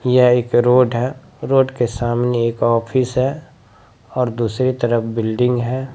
यह एक रोड है रोड के सामने एक ऑफिस है और दूसरी तरफ बिल्डिंग है ।